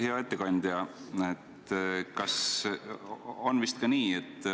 Hea ettekandja!